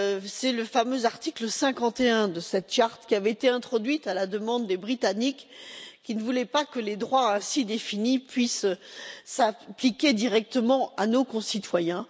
C'est le fameux article 51 de cette charte, lequel avait été introduit à la demande des Britanniques qui ne voulaient pas que les droits ainsi définis puissent s'appliquer directement à nos concitoyens.